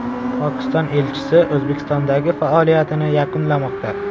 Pokiston elchisi O‘zbekistondagi faoliyatini yakunlamoqda.